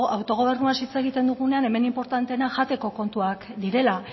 autogobernuaz hitz egiten dugunean hemen inportanteena jateko kontuak direla